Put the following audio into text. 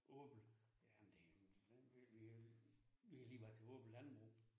Åbel. Jamen det jo en vi jo vi har lige været til åben landbrug